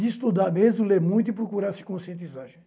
De estudar mesmo, ler muito e procurar se conscientizar, gente.